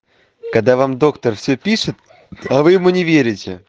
когда вам доктор всё пишет а вы ему не верите